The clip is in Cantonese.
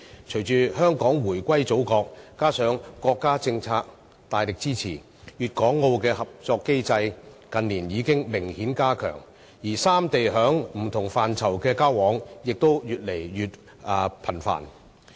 隨着香港回歸祖國，加上國家政策大力支持，粵港澳的合作機制，近年已明顯加強，而三地在不同範疇上的交往也越來越頻繁。